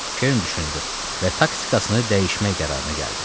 Kern düşündü və taktikasını dəyişmək qərarına gəldi.